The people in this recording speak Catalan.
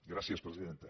gràcies presidenta